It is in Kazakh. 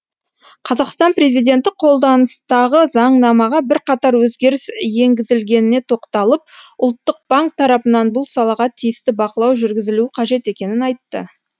қазақстан президенті қолданыстағы заңнамаға бірқатар өзгеріс енгізілгеніне тоқталып ұлттық банк тарапынан бұл салаға тиісті бақылау жүргізілуі қажет екенін айтты